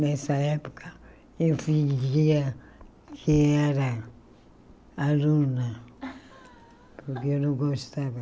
Nessa época eu fingia que era aluna, porque eu não gostava.